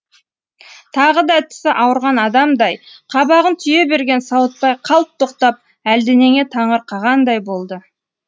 тағы да тісі ауырған адамдай қабағын түйе берген сауытбай қалт тоқтап әлденеге таңырқағандай болды